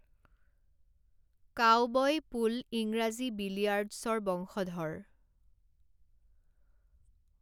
Cowboy pool ইংৰাজী বিলিয়াৰ্ডছৰ বংশধৰ।